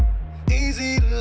í